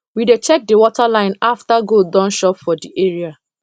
we dey check the water line after goat don chop for the area